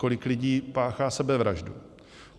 Kolik lidí páchá sebevraždu.